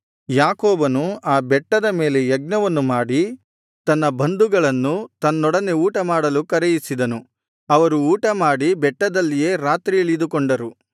ಯಾಕೋಬನು ಆ ಬೆಟ್ಟದ ಮೇಲೆ ಯಜ್ಞವನ್ನು ಮಾಡಿ ತನ್ನ ಬಂಧುಗಳನ್ನು ತನ್ನೊಡನೆ ಊಟಮಾಡಲು ಕರೆಯಿಸಿದನು ಅವರು ಊಟ ಮಾಡಿ ಬೆಟ್ಟದಲ್ಲಿಯೇ ರಾತ್ರಿ ಇಳಿದುಕೊಂಡರು